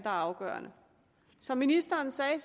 er afgørende som ministeren sagde